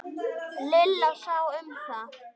Lilla sá um það.